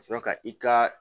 Ka sɔrɔ ka i ka